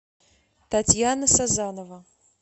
татьяна сазанова